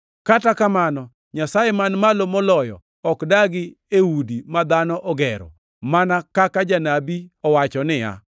“Kata kamano, Nyasaye Man Malo Moloyo ok dagi e udi ma dhano ogero, mana kaka janabi owacho niya,